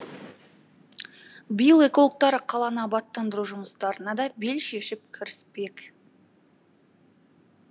биыл экологтар қаланы абаттандыру жұмыстарына да бел шешіп кіріспек